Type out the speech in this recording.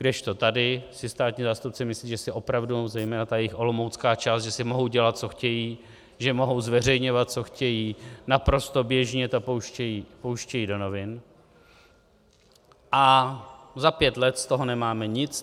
Kdežto tady si státní zástupci myslí, že si opravdu, zejména ta jejich olomoucká část, že si mohou dělat, co chtějí, že mohou zveřejňovat, co chtějí, naprosto běžně to pouštějí do novin - a za pět let z toho nemáme nic.